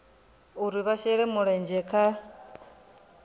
uri vha shele mulenzhe khaho